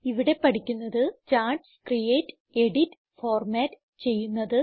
ഇവിടെ പഠിക്കുന്നത് charts create edit format ചെയ്യുന്നത്